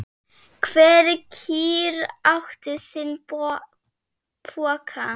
Hver kýr átti sinn poka.